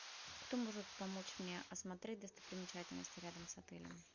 кто может помочь мне осмотреть достопримечательности рядом с отелем